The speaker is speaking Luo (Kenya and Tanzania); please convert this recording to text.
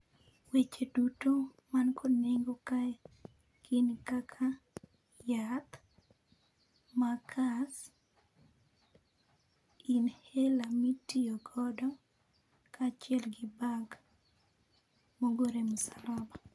Weche duto man kod nego kae gin kaka, yath, makas, inhaler mitiyo godo kaachiel gi bank mogor e msalaba.